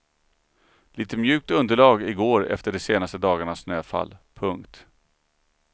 Litet mjukt underlag i går efter de senaste dagarnas snöfall. punkt